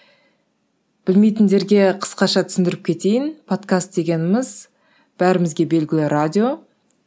білмейтіндерге қысқаша түсіндіріп кетейін подкаст дегеніміз бәрімізге белгілі радио